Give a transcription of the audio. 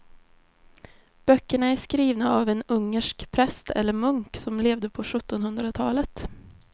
Böckerna är skrivna av en ungersk präst eller munk som levde på sjuttonhundratalet.